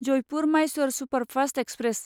Jaipur Mysore superfast express